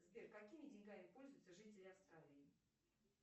сбер какими деньгами пользуются жители австралии